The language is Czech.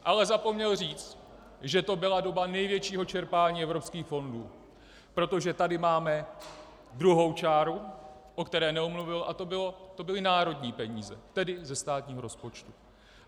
Ale zapomněl říct, že to byla doba největšího čerpání evropských fondů, protože tady máme druhou čáru, o které nemluvil, a to byly národní peníze, tedy ze státního rozpočtu.